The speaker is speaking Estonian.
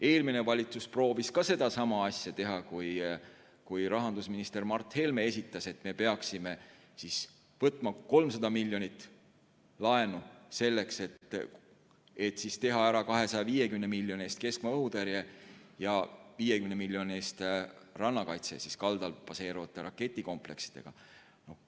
Eelmine valitsus proovis ka sama asja teha, kui rahandusminister Mart Helme ütles, et me peaksime võtma 300 miljonit laenu selleks, et teha ära 250 miljoni eest keskmaa õhutõrje ja 50 miljoni eest rannakaitse kaldal baseeruvate raketikompleksidega.